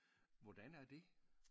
Hvordan er det?